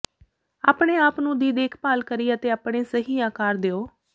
ਆਪਣੇ ਆਪ ਨੂੰ ਦੀ ਦੇਖਭਾਲ ਕਰੀ ਅਤੇ ਆਪਣੇ ਸਹੀ ਆਕਾਰ ਦਿਓ